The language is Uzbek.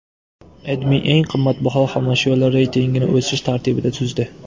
AdMe eng qimmatbaho xomashyolar reytingini o‘sish tartibida tuzdi .